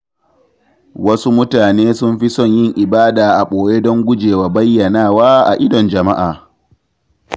Wasu mutane sun fi son yin ibada a ɓoye don gujewa bayyanawa a idon jama’a.